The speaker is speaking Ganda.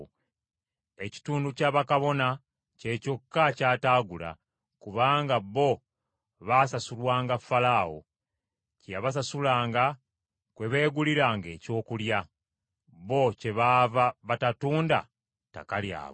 Ekitundu kya bakabona kye kyokka ky’ataagula, kubanga bo baasasulwanga Falaawo. Kye yabasasulanga kwe beeguliranga ebyokulya; bo kyebaava batatunda ttaka lyabwe.